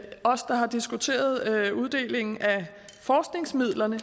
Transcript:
os der har diskuteret uddelingen af forskningsmidlerne